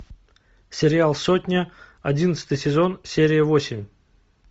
сериал сотня одиннадцатый сезон серия восемь